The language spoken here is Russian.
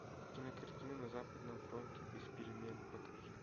кинокартина на западном фронте без перемен покажи